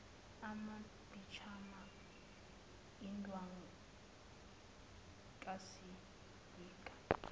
amaphijama endwangu kasilika